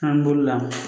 An bolo la